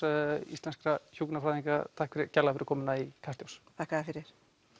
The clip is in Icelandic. íslenskra hjúkrunarfræðinga takk kærlega fyrir komuna í Kastljós þakka þér fyrir